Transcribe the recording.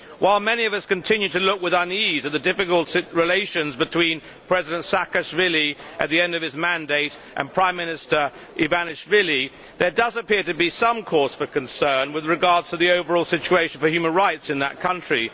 While many of us continue to look with unease at the difficult relations between President Saakashvili at the end of his mandate and Prime Minister Ivanishvili, there does appear to be some cause for concern with regard to the overall situation for human rights in that country.